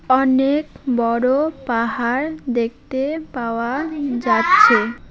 অনেক বড় পাহাড় দেখতে পাওয়া যাচ্ছে।